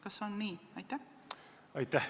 Kas on nii?